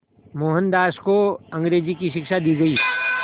मोहनदास को अंग्रेज़ी की शिक्षा दी गई